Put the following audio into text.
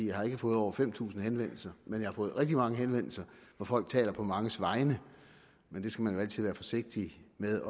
jeg har ikke fået over fem tusind henvendelser men jeg har fået rigtig mange henvendelser hvor folk taler på manges vegne men det skal man jo altid være forsigtig med